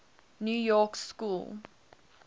new york school